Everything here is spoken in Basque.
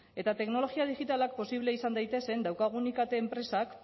eta teknologia digitalak posible izan daitezen daukagun ikt enpresak